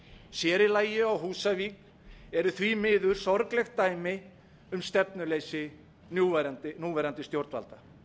sér í lagi á húsavík eru því miður sorglegt dæmi um stefnuleysi núverandi stjórnvalda við